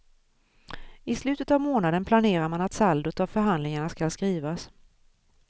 I slutet av månaden planerar man att saldot av förhandlingarna skall skrivas.